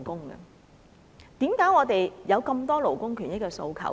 為何我們有那麼多勞工權益的訴求？